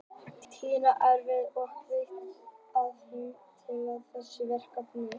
Tinna er hörkudugleg og ég veit að hún mun tækla þetta verkefni.